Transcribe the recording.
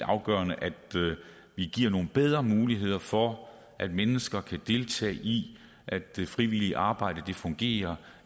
afgørende at vi giver nogle bedre muligheder for at mennesker kan deltage i at det frivillige arbejde fungerer